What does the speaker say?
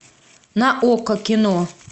на окко кино